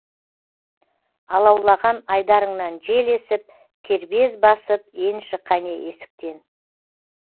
алаулаған айдарыңнан жел есіп кербез басып енші қане есіктен